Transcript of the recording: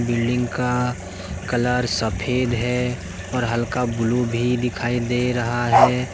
Building का colour सफेद है और हल्का ब्लू भी दिखाई दे रहा है।